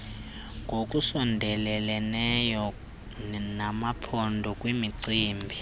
ngokusondeleleneyo namaphondo kwimicibi